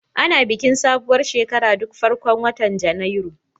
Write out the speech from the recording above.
Ana bikin sabuwar shekara duk farkon watan Janairu.